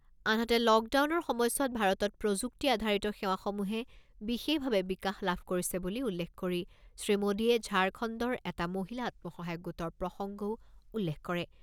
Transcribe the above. আনহাতে লকডাউনৰ সময়ছোৱাত ভাৰতত প্ৰযুক্তি আধাৰিত সেৱাসমূহে বিশেষভাৱে বিকাশ লাভ কৰিছে বুলি উল্লেখ কৰি শ্ৰীমোদীয়ে ঝাৰখণ্ডৰ এটা মহিলা আত্মসহায়ক গোটৰ প্ৰসংগও উল্লেখ কৰে।